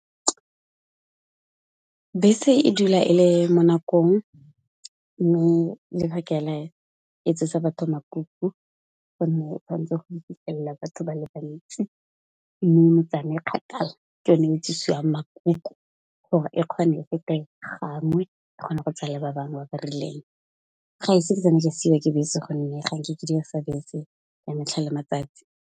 Bese e dula e le mo nakong mme, le ba ka la etsetsa batho makuku gonne o tshwanetse go fitlhella batho ba le bantsi. Mo metsaneng e kgakala ke yone e tsusiwang makuku gore e kgone e fete gangwe e kgona go tsaya le ba bangwe ba ba rileng. Ga e se ke tsamaye ka siwa ke bese gonne ga nke ke dirisa bese ka metlha le matsatsi.